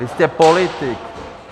Vy jste politik.